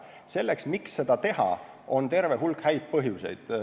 Selleks, miks seda teha, on terve hulk häid põhjuseid.